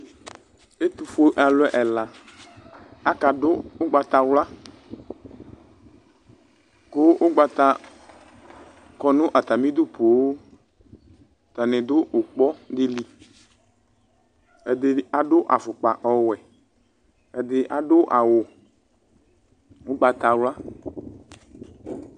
Ɛtufue alu ɛla akadu ugbatawla ku ugbata kɔ nu atamidu poo atani du ikpa dili ɛdini adu afokpa ɔwɛ ɛdi adu awu ugbatawla